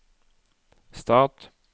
stat